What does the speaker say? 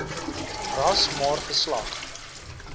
ras maar geslag